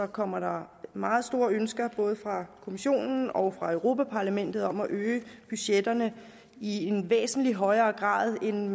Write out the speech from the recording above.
kommer der meget store ønsker både fra kommissionen og fra europa parlamentet om at øge budgetterne i en væsentlig højere grad end